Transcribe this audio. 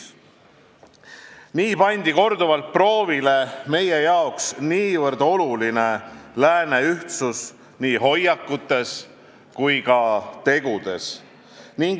Sel moel on pandud korduvalt proovile meie jaoks nii oluline Lääne ühtsus nii hoiakutes kui ka tegudes.